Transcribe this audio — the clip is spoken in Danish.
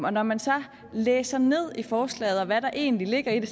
og når man så læser ned i forslaget og ser hvad der egentlig ligger i det